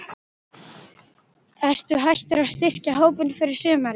Ertu hættur að styrkja hópinn fyrir sumarið?